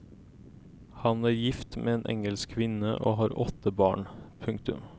Han er gift med en engelsk kvinne og har åtte barn. punktum